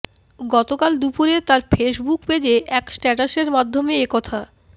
গতকাল দুপুরে তার ফেসবুক পেজে এক স্ট্যাটাসের মাধ্যমে এ কথা